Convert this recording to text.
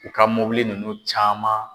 U ka mobili ninnu caman